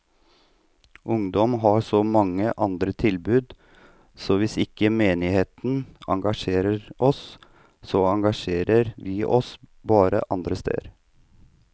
Ungdom har så mange andre tilbud, så hvis ikke menigheten engasjerer oss, så engasjerer vi oss bare andre steder.